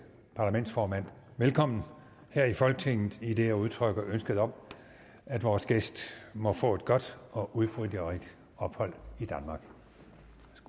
parlamentsformand velkommen her i folketinget idet jeg udtrykker ønske om at vores gæst må få et godt og udbytterigt ophold